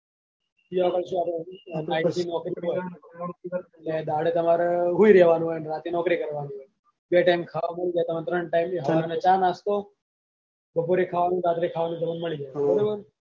ત્યાં આગળ શું દહાડ તમારે સુઈ રેવાનું હોય ને રાતે નોકરી કરવાની હોય છે બે time ખાવા મળી જાય તમોન ત્રણ time સવારે ચા નાસ્તો બપોરે ખાવાનું રાત્રે ખાવાનું તમને મળી જાય છે બરોબર